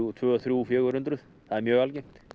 tvö þrjú fjögur hundruð það er mjög algengt